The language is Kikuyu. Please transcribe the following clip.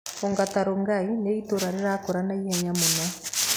Ongata Rongai nĩ itũũra rĩrakũra naihenya mũno.